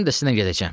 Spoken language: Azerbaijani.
Mən də sizlə gedəcəm.